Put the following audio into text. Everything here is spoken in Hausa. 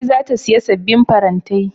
Ummi za ta siya sabbin farantai.